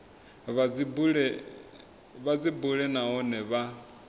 vha dzi bule nahone vha